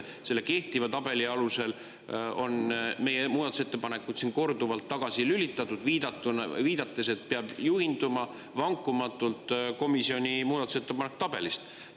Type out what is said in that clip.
Selle kehtiva tabeli alusel on meie muudatusettepanekud siin korduvalt tagasi, viidates, et peab juhinduma vankumatult komisjoni muudatusettepanekute tabelist.